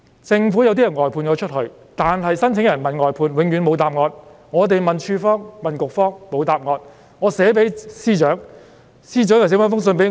政府外判了部分相關工作，當申請人問外判，永遠得不到答案；我們問署方、局方，同樣沒得到答案。